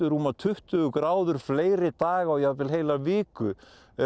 rúmar tuttugu gráður fleiri daga og jafnvel heila viku